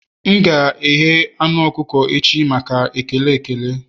M ga-eghe anu ọkụkọ echi maka ekele ekele